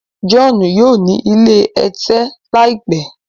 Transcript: John yíò ní ilé ẹ̀tẹ̀ láìpé.